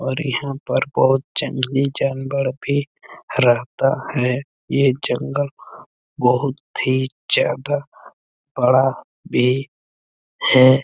और यहाँ पर बहुत जंगली जानवर भी रहता है ये जंगल बहुत ही ज्यादा बड़ा भी है। .